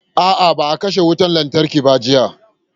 A'a, ba a katse wutar lantarkin ba jiya.